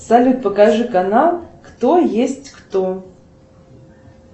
салют покажи канал кто есть кто